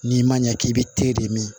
N'i ma ɲɛ k'i bɛ te de min